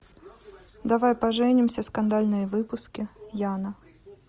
давай поженимся скандальные выпуски яна